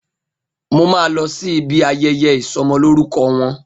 Mo máa lọ sí ibi ayẹyẹ ìsọmọlórúkọ wọn